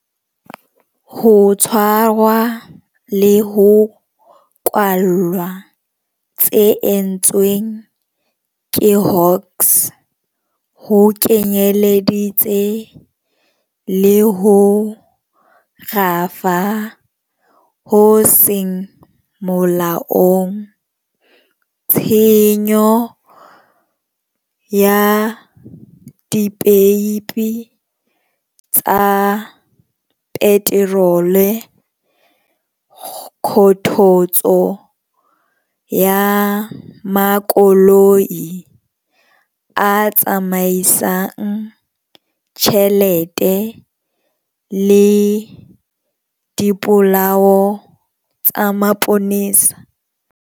Ho tshwarwa le ho kwallwa tse entsweng ke Hawks ho kenyeleditse le ho rafa ho seng molaong, tshenyo ya dipeipi tsa peterole, kgothotso ya makoloi a tsamaisang tjhelete le dipolao tsa mapolesa.